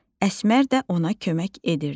Əsmər də ona kömək edirdi.